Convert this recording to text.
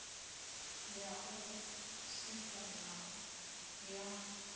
ya u tshipa na ya